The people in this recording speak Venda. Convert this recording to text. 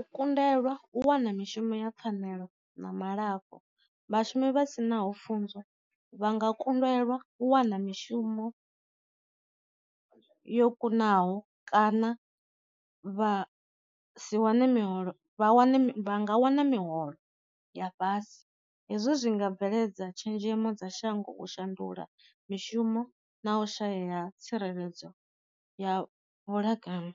U kundelwa u wana mishumo ya pfanelo na ma lafho, vhashumi vha sinaho pfunzo vha nga kundelwa u wana mishumo yo kunaho kana vha si wane miholo vha wane vha nga wana miholo ya fhasi, hezwo zwi nga bveledza tshenzhemo dza shango u shandula mishumo na u shayeya tsireledzo ya vhulakanyi.